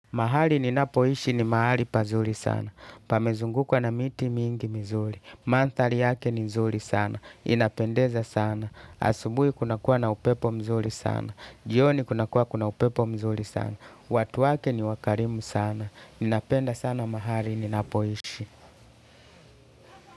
Mahali ninapoishi ni mahali pazuri sana, pamezungukwa na miti mingi mizuri, manthari yake ni nzuri sana, inapendeza sana, asubui kuna kuwa na upepo mzuri sana, jioni kuna kuwa kuna upepo mzuri sana, watu wake ni wa karimu sana, ninapenda sana mahali ninapoishi.